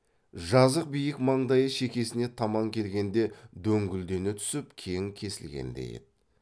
жазық биік маңдайы шекесіне таман келгенде дөңкілдене түсіп кең кесілгендей еді